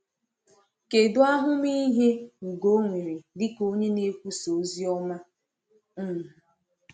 Kèdụ ahụmịhe Ugo nwere dịka onye na-ekwusà ozi ọma? um